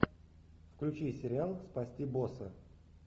включи сериал спасти босса